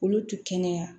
Olu tɛ kɛnɛya